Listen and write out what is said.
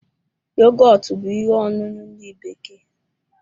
Yogọtu bú ihe ọṅụṅụ ndị bekee